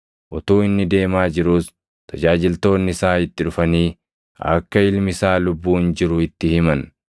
Utuu inni deemaa jiruus tajaajiltoonni isaa itti dhufanii akka ilmi isaa lubbuun jiru itti himan.